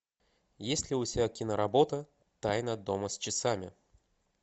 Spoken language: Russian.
есть ли у тебя киноработа тайна дома с часами